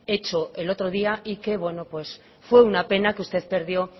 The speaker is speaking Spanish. hecho el otro día y que bueno pues fue una pena que usted perdió